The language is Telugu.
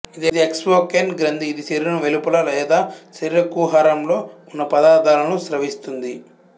ఇది ఎక్సోక్రైన్ గ్రంథి ఇది శరీరం వెలుపల లేదా శరీర కుహరంలో ఉన్న పదార్థాలను స్రవిస్తుంది